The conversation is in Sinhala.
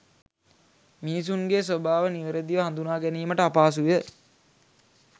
මිනිසුන්ගේ ස්වභාව නිවැරැදිව හඳුනාගැනීමට අපහසුය.